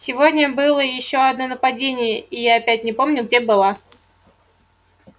сегодня было ещё одно нападение и я опять не помню где была